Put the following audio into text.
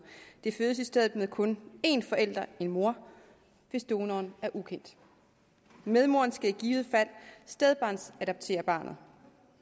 det fødes i stedet med kun én forælder en mor hvis donoren er ukendt medmoren skal i givet fald stedbarnsadoptere barnet